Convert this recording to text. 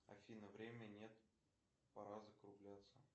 афина время нет пора закругляться